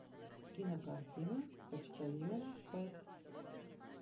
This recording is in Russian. кинокартина почтальон пэт